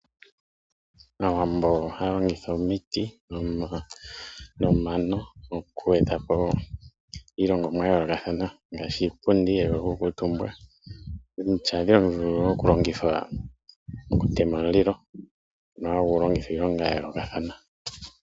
Aawambo ohaya longitha omiti nomano okweetapo iilongomwa ya yoolokathana ngaashi iipundi mbyono yokukuutumba. Omiti ohadhi longithwa kutema omulilo ngono hagu longithwa iilonga ya yoolokathana.